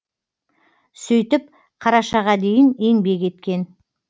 сөйтіп қарашаға дейін еңбек еткен